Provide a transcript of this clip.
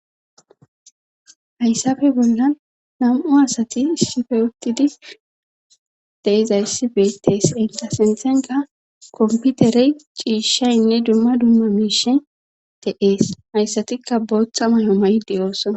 hayssafe bolla nam7u asati isshife uttidi deizayssife teesi enqa sinthenka komputerey ciishaynne dumma dumma miishen te7ees hayssatikka booththa may7o mayde ooson